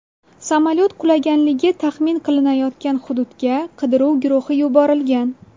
Samolyot qulaganligi taxmin qilinayotgan hududga qidiruv guruhi yuborilgan.